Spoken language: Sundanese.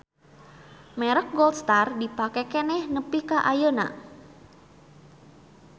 Merek Gold Star dipake keneh nepi ka ayeuna